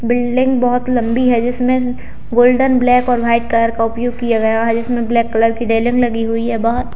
Building बहुत लंबी है जिसमें गोल्डन ब्लैक और व्हीट कलर का उपयोग किया गया है जिसमें ब्लैक कलर की रेलिंग लगी हुई है। बहुत--